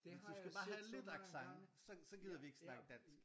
Du skal bare have lidt accent så så gider vi ikke at snakke dansk